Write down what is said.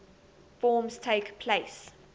forms takes place